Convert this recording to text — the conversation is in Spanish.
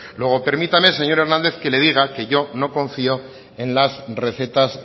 luego permítame señor hernández que le diga que yo no confío en las recetas